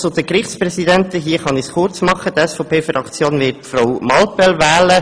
Zur Gerichtspräsidentenwahl: Die SVP-Fraktion wird Frau Muriel Mallepell wählen.